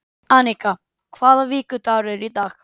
Annika, hvaða vikudagur er í dag?